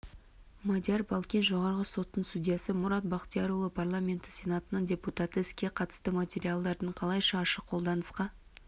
мадияр балкен жоғарғы соттың судьясы мұрат бақтиярұлы парламенті сенатының депутаты іске қатысты материалдардың қалайша ашық қолданысқа